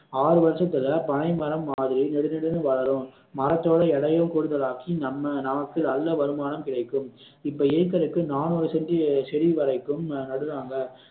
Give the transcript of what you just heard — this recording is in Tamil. ஆறு வருஷத்துல பனைமரம் மாதிரி நெடுநெடுன்னு வளரும் மரத்தோட இலையும் கூடுதல் ஆக்கி நம்ம நமக்கு நல்ல வருமானம் கிடைக்கும் இப்போ இருக்கிறதுக்கு நாநூறு செண்டி செடி வரைக்கும் நடுறாங்க